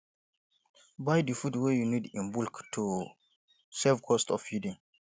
buy di food wey you need in bulk to save cost of feeding